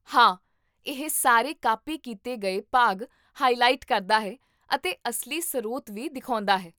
ਹਾਂ, ਇਹ ਸਾਰੇ ਕਾਪੀ ਕੀਤੇ ਗਏ ਭਾਗ ਹਾਇਲਾਇਟ ਕਰਦਾ ਹੈ ਅਤੇ ਅਸਲੀ ਸਰੋਤ ਵੀ ਦਿਖਾਉਂਦਾ ਹੈ